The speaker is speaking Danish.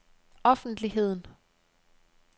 offentligheden